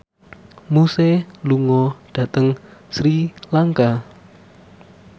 Muse lunga dhateng Sri Lanka